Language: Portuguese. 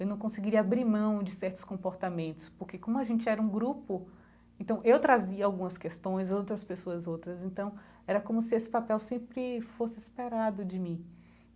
Eu não conseguiria abrir mão de certos comportamentos, porque como a gente era um grupo, então eu trazia algumas questões e outras pessoas outras, então era como se esse papel sempre fosse esperado de mim.